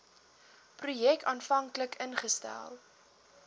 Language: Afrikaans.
projek aanvanklik ingestel